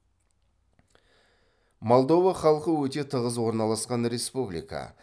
молдова халқы өте тығыз орналасқан республика